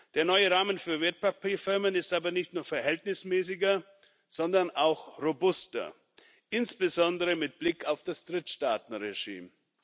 Der neue Rahmen für Wertpapierfirmen ist aber nicht nur verhältnismäßiger, sondern auch robuster, insbesondere mit Blick auf das Drittstaatenregime.